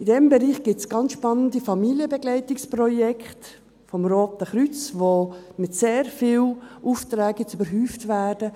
In diesem Bereich gibt es ganz spannende Familienbegleitungsprojekte des Roten Kreuzes, die jetzt mit sehr vielen Aufträgen überhäuft werden.